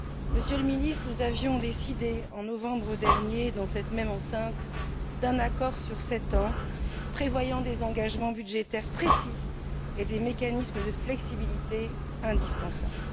Monsieur le Ministre, nous avions décidé, en novembre dernier, dans cette même enceinte, d'un accord sur sept ans, prévoyant des engagements budgétaires précis et des mécanismes de flexibilité indispensables.